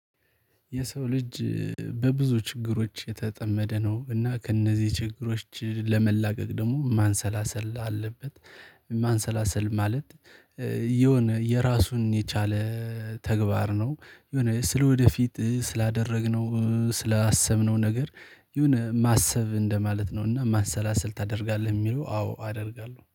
የሰው ልጅ በብዙ ችግሮች የተጠመደ ነው እና ከእነዚህ ችግሮች ለመላቀቅ ደግሞ ማሰላሰል አለበት። ማንሰላሰል ማለት የሆነ የራሱን የቻለ ተግባር ነው። የሆነ ስለወደፊት ስላደረግነው ስላሰብነው ነገር የሆነ ማሰብ እንደማለት ነው። እና ማንሰላሰል ታደርጋለህ የሚለው አዎ አደርጋለሁ